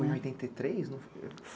Foi em oitenta e três?